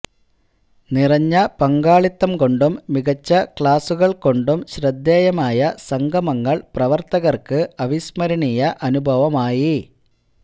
നിറഞ്ഞ പങ്കാളിത്തം കൊണ്ടും മികച്ച ക്ലാസുകൾ കൊണ്ടും ശ്രദ്ധേയമായ സംഗമങ്ങൾ പ്രവർത്തകർക്ക് അവിസ്മരണീയ അനുഭവമായി